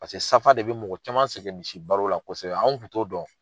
Paseke safa de bi mɔgɔ caman sɛgɛn misi balo la kosɛbɛ. An kun t'o dɔn.